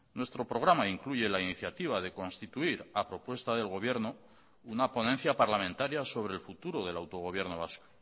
nuestro programa incluye la iniciativa de constituir a propuesta del gobierno una ponencia parlamentaria sobre el futuro del autogobierno vasco